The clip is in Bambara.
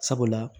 Sabula